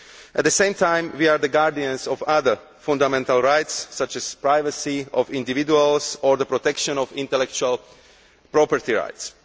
At the same time, we are the guardians of other fundamental rights, such as the privacy of individuals or the protection of intellectual property rights.